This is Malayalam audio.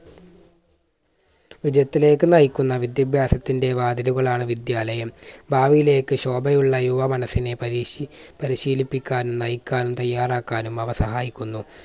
വിജയത്തിലേക്ക് നയിക്കുന്ന വിദ്യാഭ്യാസത്തിൻറെ വാതിലുകൾ ആണ് വിദ്യാലയം. ഭാവിയിലേക്ക് ശോഭയുള്ള യുവ മനസ്സിനെ പരീക്ഷി പരിശീലിപ്പിക്കാനും നയിക്കാനും തയ്യാറാക്കാനും അവ സഹായിക്കുന്നു.